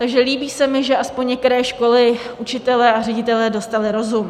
Takže líbí se mi, že aspoň některé školy, učitelé a ředitelé dostali rozum.